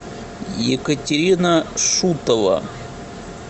екатерина шутова